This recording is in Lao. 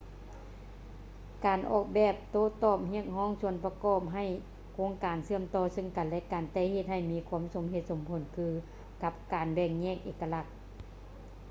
ການອອກແບບໂຕ້ຕອບຮຽກຮ້ອງສ່ວນປະກອບໃຫ້ໂຄງການເຊື່ອມຕໍ່ເຊິ່ງກັນ ແລະ ກັນ ແຕ່ເຮັດໃຫ້ມີຄວາມສົມເຫດສົມຜົນຄືກັນກັບແບ່ງແຍກເອກະລັກ